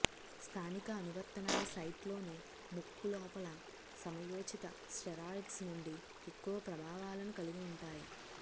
స్థానిక అనువర్తనాల సైట్లోని ముక్కు లోపల సమయోచిత స్టెరాయిడ్స్ నుండి ఎక్కువ ప్రభావాలను కలిగి ఉంటాయి